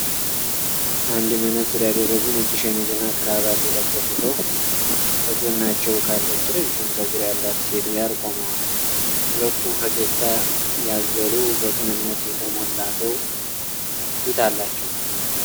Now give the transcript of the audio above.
አንድ መነፅር ያደረጉ ነጭ ሸሚዝና ክራቫት የለበሱ ሰው ከጎናቸው ካለች ረዥም ጸጉር ያላት ሴት ጋር ቆመዋል። ሁለቱም ፈገግታ ያዘሉ፣ በቅንነት የተሞላ ፊት አላቸው።